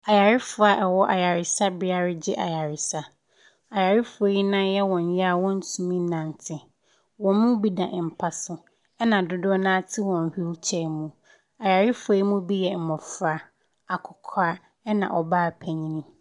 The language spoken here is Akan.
Ayarefoɔ a ɛwɔ ayaresabea ɛgyi ayaresa ayarefoɔ yɛ nan yɛ wɔn ya wɔn tumi nante ɔmɔ bi da mpaso ɛna dodoɔ naa te wɔn wheel chair mu ayarefoɔ bi nom yɛ mmɔfra akɔkura ɛna ɔbaa panyin.